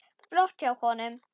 Flott hjá honum.